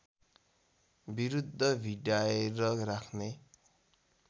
विरुद्ध भिडाएर राख्ने